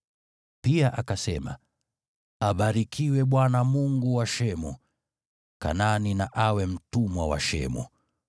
Pia akasema, “Abarikiwe Bwana , Mungu wa Shemu! Kanaani na awe mtumwa wa Shemu.